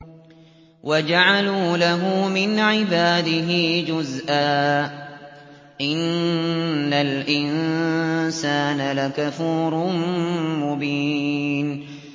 وَجَعَلُوا لَهُ مِنْ عِبَادِهِ جُزْءًا ۚ إِنَّ الْإِنسَانَ لَكَفُورٌ مُّبِينٌ